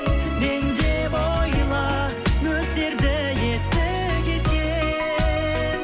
мен деп ойла нөсерді есі кеткен